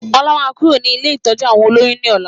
Ọlá máa kúrò ní ilé ìtọ́jú àwọn olóyún ni ọ̀la